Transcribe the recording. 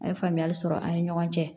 A ye faamuyali sɔrɔ an ni ɲɔgɔn cɛ